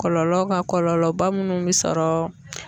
Kɔlɔlɔ ka kɔlɔlɔba munnu bɛ sɔrɔ